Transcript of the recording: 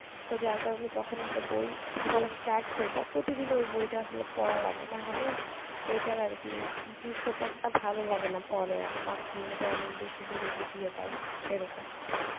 তো যার কারণে যখন একটা বই পড়া start করবা প্রতিদিন ওই বইটা আসলে পড়া লাগে নাহলে বইটার আর কি দৃশ্যপটটা ভালো লাগেনা পরে আর মাঝখানে যদি অনেক বেশি বিরতি দিয়ে দাও এরকম